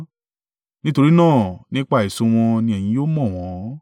Nítorí náà, nípa èso wọn ni ẹ̀yin yóò mọ̀ wọn.